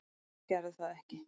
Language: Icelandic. Þeir gerðu það ekki